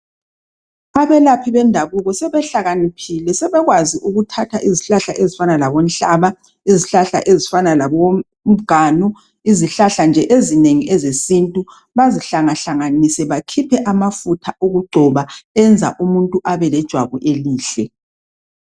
Abelaphi bendabuko sebehlakaniphile sebekwazi ukuthatha izihlahla ezifana labonhlaba izihlahla ezifana labomganu izihlahla nje ezinengi ezesintu bazihlangahlanganise bakhiphe amafutha okugcoba enza umuntu abelejwabu elihle